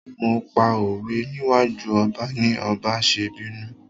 Mo pa òwe níwájú ọba ni ọba ṣe bínú.